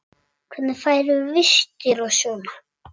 Hvernig færðu vistir og svona?